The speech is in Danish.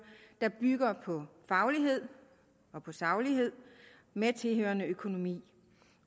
der bygger på faglighed og saglighed med tilhørende økonomi